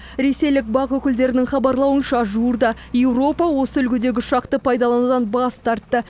ресейлік бақ өкілдерінің хабарлауынша жуырда еуропа осы үлгідегі ұшақты пайдаланудан бас тартты